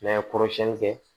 N'a ye kɔrɔ siɲɛni kɛ